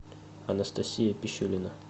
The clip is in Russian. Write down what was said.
анастасия пищулина